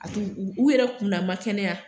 A t'u u yɛrɛ kun na n ma kɛnɛya